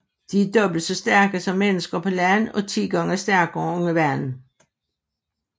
De er dobbelt så stærke som mennesker på land og ti gange stærkere under vandet